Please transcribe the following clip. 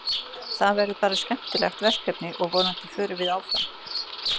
Þetta verður bara skemmtilegt verkefni og vonandi förum við áfram.